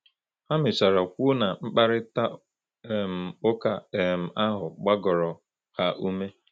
Ha mechara kwuo na mkparịta um ụka um ahụ gbagoro ha ume.